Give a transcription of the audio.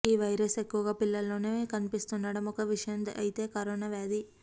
ఈ వైరస్ ఎక్కువగా పిల్లల్లోనే కనిపిస్తుండడం ఒక విషయం అయితే కరోనా వ్యాధి